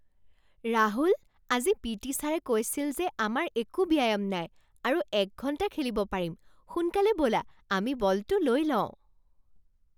ৰাহুল! আজি P T ছাৰে কৈছিল যে আমাৰ একো ব্যায়াম নাই আৰু এক ঘণ্টা খেলিব পাৰিম! সোনকালে ব'লা আমি বলটো লৈ লওঁ!